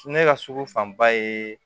Ne ka sugu fanba ye